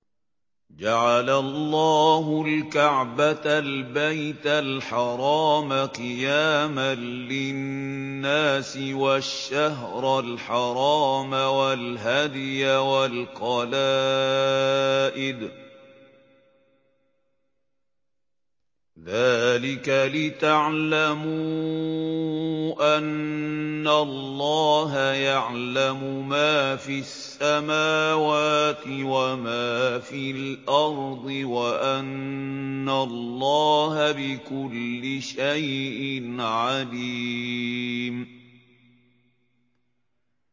۞ جَعَلَ اللَّهُ الْكَعْبَةَ الْبَيْتَ الْحَرَامَ قِيَامًا لِّلنَّاسِ وَالشَّهْرَ الْحَرَامَ وَالْهَدْيَ وَالْقَلَائِدَ ۚ ذَٰلِكَ لِتَعْلَمُوا أَنَّ اللَّهَ يَعْلَمُ مَا فِي السَّمَاوَاتِ وَمَا فِي الْأَرْضِ وَأَنَّ اللَّهَ بِكُلِّ شَيْءٍ عَلِيمٌ